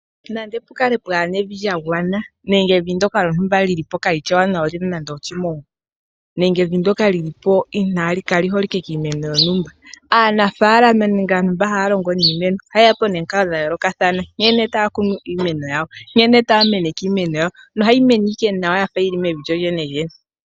Nande opu kale pwaa na evi lya gwana , nande evi ndoka lyili po kaa lii shi ewanawa lyi na nande oshimongwa nenge evi ndoka lyili po kaa li holike kiimeno yontumba, aanafaalama nenge aantu mba haya longo niimeno ohaye ya po nomikalo dha yoolokathana nkene taya kunu iimeno yawo , nkene taya meneke iimeno yawo nohayi mene ike nawa yafa yili mevi lyolyenelyene.